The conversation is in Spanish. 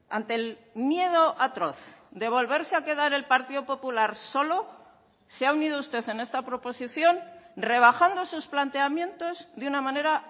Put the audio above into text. ante el miedo atroz de volverse a quedar el partido popular solo se ha unido usted en esta proposición rebajando sus planteamientos de una manera